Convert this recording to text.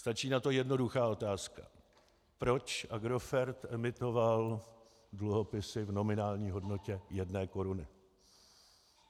Stačí na to jednoduchá otázka: Proč Agrofert emitoval dluhopisy v nominální hodnotě jedné koruny?